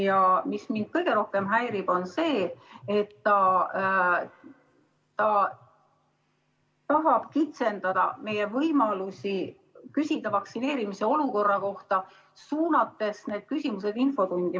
Ja kõige rohkem häirib mind see, et ta tahab kitsendada meie võimalusi küsida vaktsineerimise olukorra kohta, suunates need küsimused infotundi.